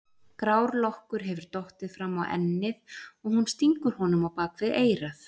Grár lokkur hefur dottið fram á ennið og hún stingur honum á bak við eyrað.